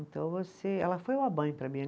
Então você, ela foi uma mãe para mim.